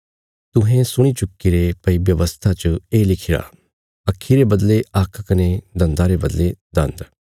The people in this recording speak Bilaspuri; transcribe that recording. तुहें सुणी चुक्कीरे भई व्यवस्था च ये लिखिरा अक्खी रे बदले आक्ख कने दन्दा रे बदले दान्द